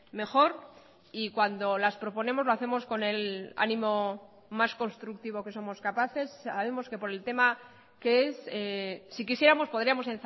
mejor y cuando las proponemos lo hacemos con el ánimo más constructivo que somos capaces sabemos que por el tema que es si quisiéramos podríamos